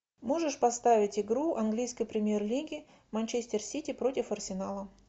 можешь поставить игру английской премьер лиги манчестер сити против арсенала